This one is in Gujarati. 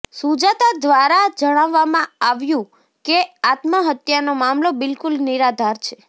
સુજાતા ઘ્વારા જણાવવામાં આવ્યું કે આત્મહત્યાનો મામલો બિલકુલ નિરાધાર છે